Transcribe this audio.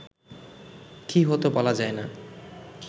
কি হত বলা যায় না